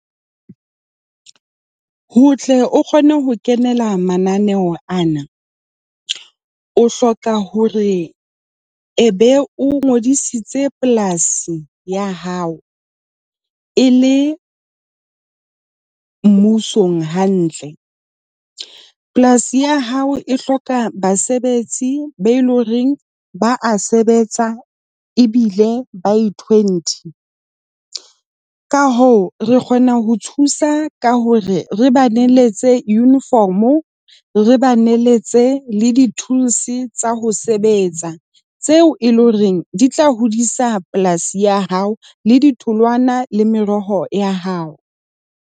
Ho tle o kgone ho kenela mananeo ana, o hloka hore ebe o ngodisitse polasi ya hao e le mmusong hantle. Polasi ya hao e hloka basebetsi ba eleng hore ba a sebetsa ebile by twenty . Ka hoo, re kgona ho thusa ka hore re ba neletse uniform-o, re ba neletse le di-tools tsa ho sebetsa, tseo e leng hore di tla hodisa polasi ya hao le ditholwana le meroho ya hao.